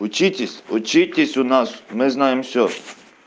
учитесь учитесь у нас мы знаем всё